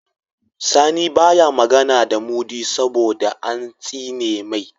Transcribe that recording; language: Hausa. Sani baya magAna da mudi saboda an tsine mai